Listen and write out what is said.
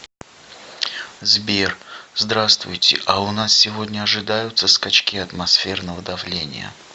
сбер здравствуйте а у нас сегодня ожидаются скачки атмосферного давления